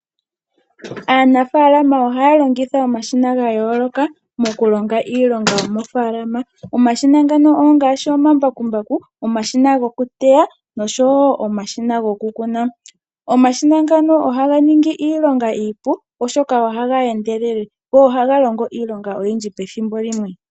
Aanafalama ohaya longitha omashina ga yoolokathana, moku longa iilonga yomofaalama. Omashina ngaka ongashi omambakumbaku, omashina goku teya nosho wo omashina goku kuna. Omashina ngaka ohaga ningi iilonga iipu, oshoka ohaga endelele go ohaga longo iilonga oyindji pethimbo limwe.